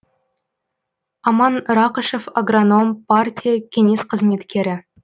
аман рақышев агроном партия кеңес қызметкері